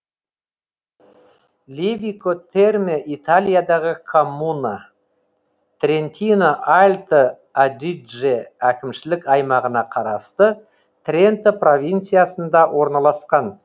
левико терме италиядағы коммуна трентино альто адидже әкімшілік аймағына қарасты тренто провинциясында орналасқан